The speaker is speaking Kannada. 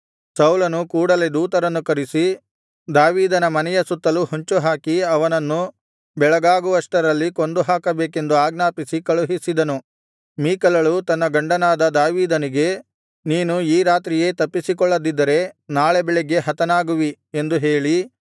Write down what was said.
ಸೌಲನು ಕೂಡಲೇ ದೂತರನ್ನು ಕರಿಸಿ ದಾವೀದನ ಮನೆಯ ಸುತ್ತಲೂ ಹೊಂಚುಹಾಕಿ ಅವನನ್ನು ಬೆಳಗಾಗುವಷ್ಟರಲ್ಲಿ ಕೊಂದುಹಾಕಬೇಕೆಂದು ಆಜ್ಞಾಪಿಸಿ ಕಳುಹಿಸಿದನು ಮೀಕಲಳು ತನ್ನ ಗಂಡನಾದ ದಾವೀದನಿಗೆ ನೀನು ಈ ರಾತ್ರಿಯೇ ತಪ್ಪಿಸಿಕೊಳ್ಳದಿದ್ದರೆ ನಾಳೆ ಬೆಳಿಗ್ಗೆ ಹತನಾಗುವಿ ಎಂದು ಹೇಳಿ